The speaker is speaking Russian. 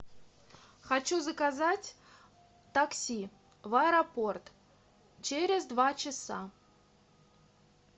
хочу заказать такси в аэропорт через два часа